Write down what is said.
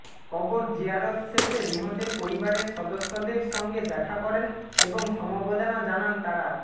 কবর জিয়ারত শেষে নিহতের পরিবারের সদস্যদের সঙ্গে দেখা করেন এবং সমবেদনা জানান তারা